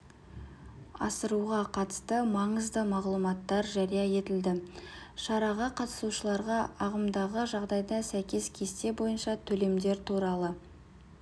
асыруға қатысты маңызды мағлұматтар жария етілді шараға қатысушыларға ағымдағы жағдайға сәйкес кесте бойынша төлемдер туралы